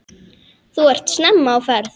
Þú ert snemma á ferð!